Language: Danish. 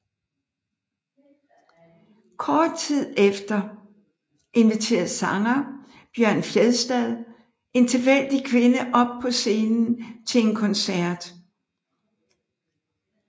Kort tid efter inviterede sanger Bjørn Fjæstad en tilfældig kvinde op på scenen til en koncert